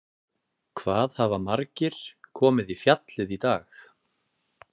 Fréttamaður: Hvað hafa margir komið í fjallið í dag?